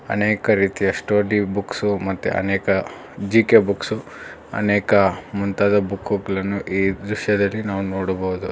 ಅನೇಕ ಪ್ರೀತಿಯ study books ಮತ್ತೆ ಅನೇಕ ಜಿ_ಕೆ ಬುಕ್ಸು ಅನೇಕ ಮುಂತಾದ ಬುಕ್ಕು ಗಳನ್ನು ಈ ದೃಶ್ಯದಲ್ಲಿ ನಾವು ನೋಡಬಹುದು.